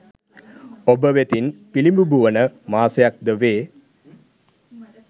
ඔබ වෙතින් පිළිබිඹු වන මාසයක් ද වේ